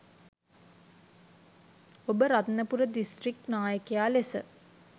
ඔබ රත්නපුර දිස්ත්‍රික් නායකයා ලෙස